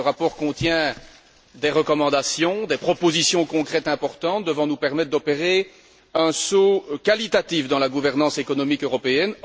Ce rapport contient des recommandations, des propositions concrètes importantes devant nous permettre d'opérer un saut qualitatif dans la gouvernance économique européenne.